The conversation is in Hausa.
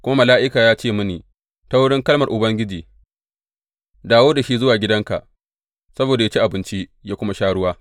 Kuma mala’ika ya ce mini ta wurin kalmar Ubangiji, Dawo da shi zuwa gidanka saboda yă ci abinci, yă kuma sha ruwa.’